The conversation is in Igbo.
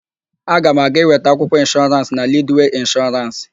Aga m aga ịweta akwụkwọ ịnshọrans na Lidwee Ịnshọrans.